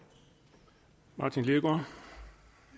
og